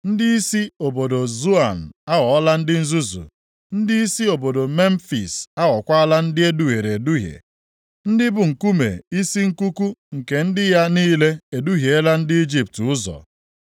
Ndịisi obodo Zoan aghọọla ndị nzuzu, ndịisi obodo Memfis + 19:13 Memfis bụ isi obodo ndị Ijipt nʼoge ochie. \+xt Izk 30:13; Hos 9:6\+xt* aghọkwaala ndị e duhiere eduhie; ndị bụ nkume isi nkuku nke ndị ya niile eduhiela ndị Ijipt ụzọ.